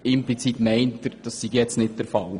Implizit meint er, das sei jetzt nicht der Fall.